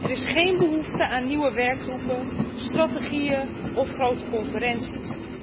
Er is geen behoefte aan nieuwe werkgroepen, strategieën of grote conferenties.